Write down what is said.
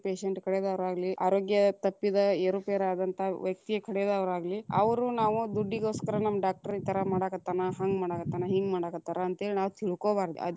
Patient ಕಡೆದವ್ರಾಗ್ಲಿ ಆರೋಗ್ಯ ತಪ್ಪಿದ, ಏರು ಪೇರಾದಂತ ವ್ಯಕ್ತಿಯ ಕಡೆದವ್ರಾಗ್ಲಿ, ಅವ್ರು ನಾವು ದುಡ್ಡಿಗೋಸ್ಕರ ನಮ್ಮ doctor ಈ ತರಾ ಮಾಡಾಕತ್ತಾನ, ಹಂಗ ಮಾಡಾಕತ್ತಾನ, ಹಿಂಗ ಮಾಡಾಕತ್ತಾರ ಅಂತ ಹೇಳಿ ನಾವ್‌ ತಿಳಕೊಬಾರದ.